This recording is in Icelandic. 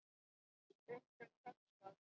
Stundum tekst það.